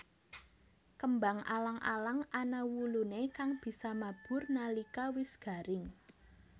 Kembang alang alang ana wuluné kang bisa mabur nalika wis garing